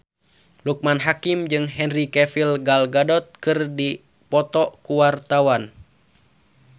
Loekman Hakim jeung Henry Cavill Gal Gadot keur dipoto ku wartawan